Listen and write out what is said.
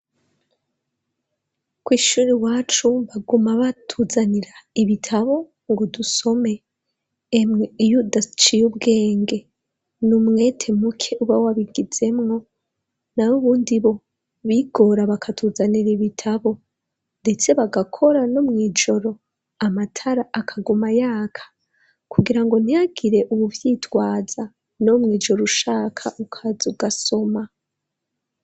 Kw' ishuri iwacu baguma batuzanira ibitabo ngo dusome, emwe iyo udaciye ubwenge ni umwete muke uba wabigizemwo, nayo ubundi bo bigora bakatuzanira ibitabo, ndetse bagakora no mw'ijoro amatara akaguma yaka, kugira ngo ntihagire uwuvyitwaza no mw'ijoro ushaka ukaza ugasoma.